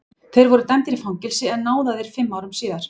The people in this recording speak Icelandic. Þeir voru dæmdir í fangelsi en náðaðir fimm árum síðar.